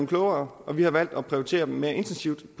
klogere og vi har valgt at prioritere dem mere intensivt